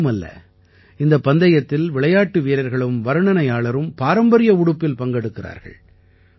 இதுமட்டுமல்ல இந்தப் பந்தயத்தில் விளையாட்டு வீரர்களும் வர்ணனையாளரும் பாரம்பரிய உடுப்பில் பங்கெடுக்கிறார்கள்